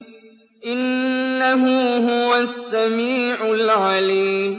إِنَّهُ هُوَ السَّمِيعُ الْعَلِيمُ